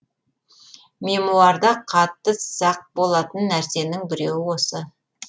мемуарда қатты сақ болатын нәрсенің біреуі осы